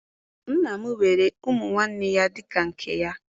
Nna m were ụmụ nwanne ya dị ka nke ya